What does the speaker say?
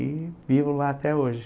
E vivo lá até hoje.